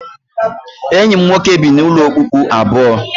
Enyi m nwoke bi n'ụlọ okpukpu abụọ